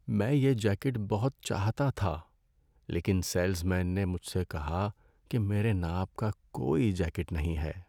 میں یہ جیکٹ بہت چاہتا تھا لیکن سیلز مین نے مجھ سے کہا کہ میرے ناپ کا کوئی جیکٹ نہیں ہے۔